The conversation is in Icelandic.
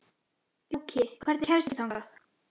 Gjúki, hvernig kemst ég þangað?